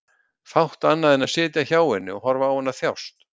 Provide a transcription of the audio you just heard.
Fátt annað en sitja hjá henni og horfa á hana þjást.